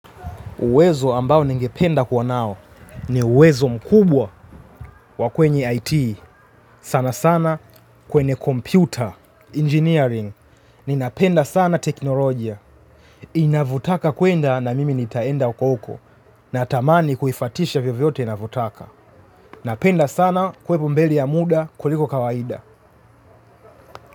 Uwezo ambao ningependa kuwa nao ni uwezo mkubwa wa kwenye IT. Sana sana kwenye computer, engineering. Ninapenda sana teknolojia. Inavotaka kuenda na mimi nitaenda huko huko. Natamani kuifatisha vyovyote ninavyotaka. Napenda sana kuwepo mbele ya muda kuliko kawaida.